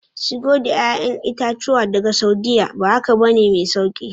Shigo da 'ya'yan itatuwa daga Saudiyya, ba haka ba ne mai sauki